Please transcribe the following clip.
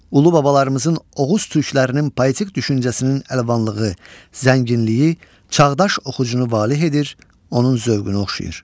Ulubabalarımızın Oğuz türklərinin poetik düşüncəsinin əlvanlığı, zənginliyi çağdaş oxucunu valeh edir, onun zövqünü oxşayır.